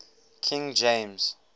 king james